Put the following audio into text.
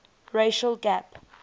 racial gap